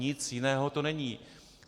Nic jiného to není.